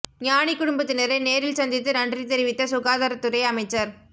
ஞாநி குடும்பத்தினரை நேரில் சந்தித்து நன்றி தெரிவித்த சுகாதார துறை அமைச்சர்